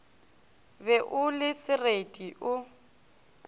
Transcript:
be o le sereti o